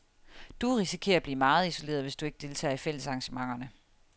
Du risikerer at blive meget isoleret, hvis du ikke deltager i fællesarrangementerne.